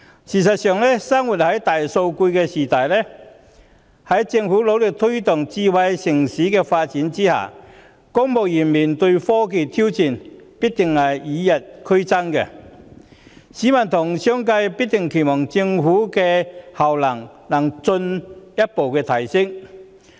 事實上，生活在大數據的時代，在政府努力推動"智慧城市"的發展的同時，公務員須面對科技的挑戰必定與日俱增，而市民和商界必定期望政府的效能能進一步提升。